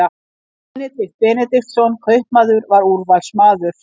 Benedikt Benediktsson kaupmaður var úrvalsmaður.